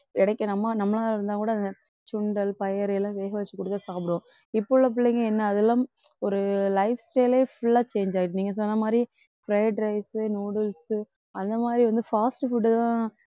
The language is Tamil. கிடைக்கணுமா நம்மளா இருந்தா கூட சுண்டல், பயறு எல்லாம் வேக வச்சு கொடுத்தா சாப்பிடுவோம். இப்போ உள்ள பிள்ளைங்க என்ன அதெல்லாம் ஒரு lifestyle ஏ full ஆ change ஆயிடுச்சி நீங்க சொன்ன மாதிரி fried rice, noodles அந்த மாதிரி வந்து fast food தான்